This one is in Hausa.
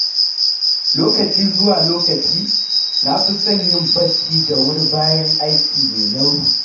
Lokaci zuwa lokaci, na fi son yin barci da wuri bayan aiki mai nauyi.